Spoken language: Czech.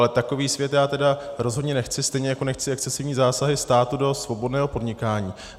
Ale takový svět já tedy rozhodně nechci, stejně jako nechci excesivní zásahy státu do svobodného podnikání.